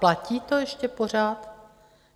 Platí to ještě pořád?